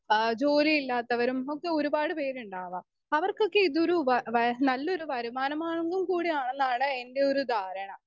Speaker 2 ആഹ് ജോലിയില്ലാത്തവരും ഒക്കെ ഒരുപാട് പേരുണ്ടാവാം അവർക്കൊക്കെ ഇതൊരു വ വ നല്ലൊരു വരുമാനമാർഗ്ഗം കൂടി ആണെന്നാണ് എൻ്റെയൊരു ധാരണ.